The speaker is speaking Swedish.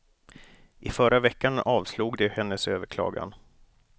I förra veckan avslog de hennes överklagan.